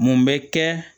Mun bɛ kɛ